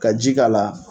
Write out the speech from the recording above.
Ka ji k'a la